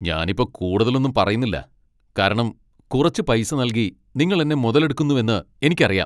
ഞനിപ്പോ കൂടുതലൊന്നും പറയുന്നില്ല കാരണം കുറച്ച് പൈസ നൽകി നിങ്ങൾ എന്നെ മുതലെടുക്കുന്നുവെന്ന് എനിക്കറിയാം .